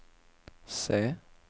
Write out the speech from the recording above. C